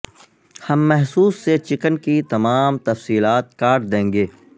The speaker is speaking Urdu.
ہم محسوس سے چکن کی تمام تفصیلات کاٹ دیں گے